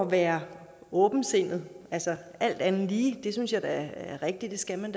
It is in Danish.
være åbensindet alt andet lige det synes jeg da det er rigtigt at man